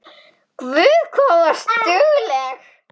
Guð hvað þú varst dugleg.